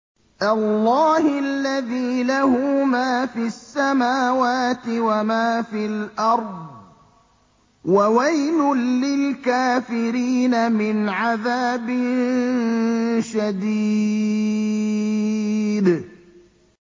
اللَّهِ الَّذِي لَهُ مَا فِي السَّمَاوَاتِ وَمَا فِي الْأَرْضِ ۗ وَوَيْلٌ لِّلْكَافِرِينَ مِنْ عَذَابٍ شَدِيدٍ